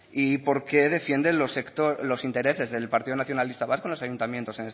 y por qué defiende los intereses del partido nacionalista vasco en los ayuntamientos